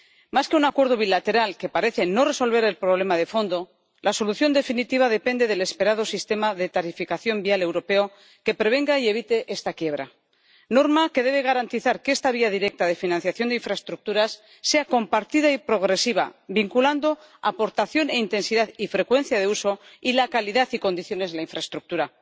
Más que un acuerdo bilateral, que parece no resolver el problema de fondo, la solución definitiva depende del esperado sistema de tarificación vial europeo que prevenga y evite esta quiebra, una norma que debe garantizar que esta vía directa de financiación de infraestructuras sea compartida y progresiva, vinculando aportación e intensidad y frecuencia de uso y la calidad y condiciones de la infraestructura.